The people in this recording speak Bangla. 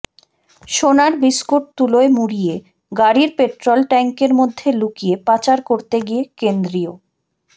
সোনার বিস্কুট তুলোয় মুড়িয়ে গাড়ির পেট্রোল ট্যাঙ্কের মধ্যে লুকিয়ে পাচার করতে গিয়ে কেন্দ্রীয়